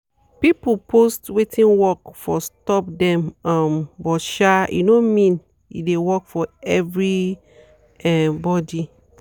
people post wetin work for stop them um but um e no mean e de work for every um body.